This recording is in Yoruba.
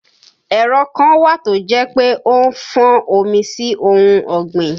Ẹ̀rọ kan wà tó jẹ́ pé ó ń fọ́n omi sí ohun ọ̀gbìn